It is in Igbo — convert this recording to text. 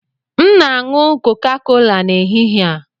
M na-aṅụ Coca-Cola n'ehihie a.